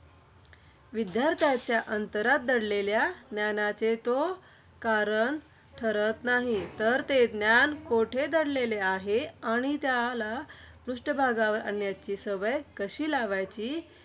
विद्यार्थ्यांच्या अंतरात दडलेल्या ज्ञानाचे तो कारण ठरत नाही. तर ते ज्ञान कोठे दडलेले आहे. आणि त्याला पृष्ठभागावर आणण्याची सवय कशी लावायची.